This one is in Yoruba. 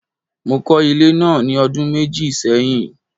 Mo kọ́ ilé náà ní ọdún méjì sẹ́yìn.